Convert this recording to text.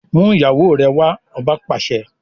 Mú ìyàwó rẹ wá! Ọba pàṣẹ.